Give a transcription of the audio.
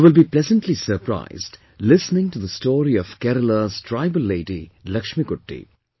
You will be pleasantly surprised listening to the story of Keralas tribal lady Lakshmikutti